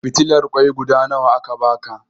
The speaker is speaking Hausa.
Fitilar ƙoi guda nawa aka baka?